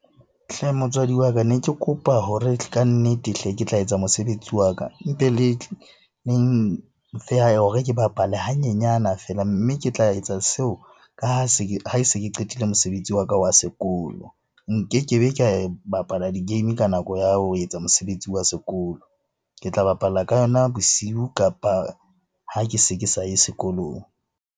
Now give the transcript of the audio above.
Hle motswadi wa ka, ne ke kopa hore kannete hle ke tla etsa mosebetsi wa ka mpe le hore ke bapale hanyenyana feela. Mme ke tla etsa seo ha se ke qetile mosebetsi wa ka wa sekolo. Nkeke be ka e bapala di-game ka nako ya ho etsa mosebetsi wa sekolo. Ke tla bapalla ka yona bosiu, kapa ha ke se ke sa ye sekolong.